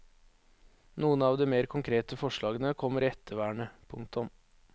Noen av de mer konkrete forslagene kommer i ettervernet. punktum